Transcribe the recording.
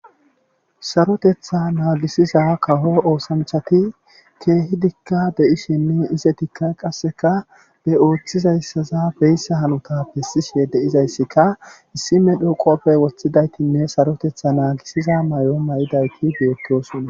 Sarotetha naagisiza kaho oosanchati keehi dikka de7ishinne ise tikka qasseka be ooththizayssaza beyssa hanuta bessishe de7izayssikka issime dhoqoppe woththidaytinne sarotetha naagisiza may7o may7idayti beettosunna